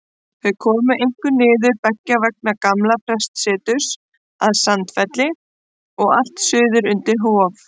Þau komu einkum niður beggja vegna gamla prestsetursins að Sandfelli og allt suður undir Hof.